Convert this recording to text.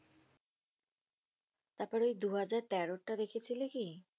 তারপরে ওই দুহাজার তেরোরটা দেখেছিলে কি?